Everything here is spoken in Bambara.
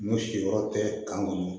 N'o si yɔrɔ tɛ kan kɔnɔ